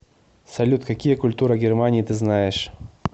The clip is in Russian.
салют какие культура германии ты знаешь